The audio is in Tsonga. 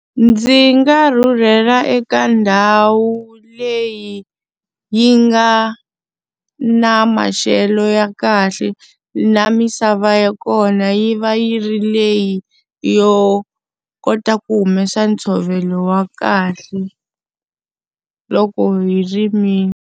Ndzi nga rhurhela eka ndhawu leyi yi nga na maxelo ya kahle na misava ya kona yi va yi ri leyi yo kota ku humesa ntshovelo wa kahle, loko hi rimile.